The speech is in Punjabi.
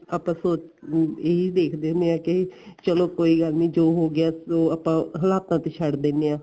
ਆਪਾਂ ਸੋਚ ਇਹ ਦੇਖਦੇ ਆ ਕੇ ਚਲੋ ਕੋਈ ਗੱਲ ਨੀ ਜੋ ਹੋ ਗਿਆ ਸੋ ਆਪਾਂ ਹੁਣ ਆਪਾਂ ਤੇ ਛੱਡ ਦਿੰਨੇ ਆ